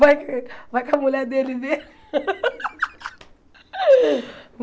Vai que a mulher dele vê.